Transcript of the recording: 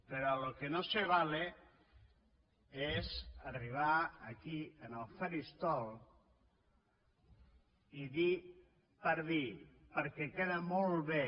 pero a lo que no se vale és arribar aquí al faristol i dir per dir perquè queda molt bé